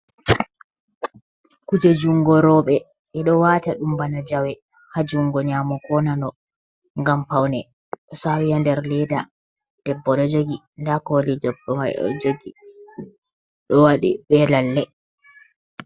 Kuje jungo roɓe ɓeɗo wata ɗum bana jawe ha jungo nyamo ko nano gam paune, do sawi ha nder leda, debbo ɗo jogi nda koli debbo mai o jogi ɗo waɗi be lalle.